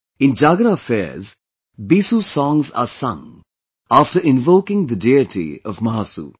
In Jagra fairs, Bisu songs are sung after invoking the deity of Mahasu